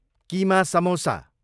keema samosa